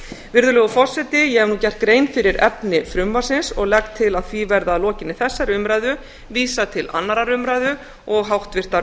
virðulegur forseti ég hef nú gert grein fyrir efni frumvarpsins og legg til að því verði að lokinni þessari umræðu vísað til annarrar umræðu og háttvirtrar